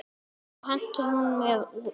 Þá henti hún mér út.